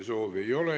Kõnesoove ei ole.